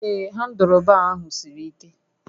Ee, handụlbaa ahụ siri ike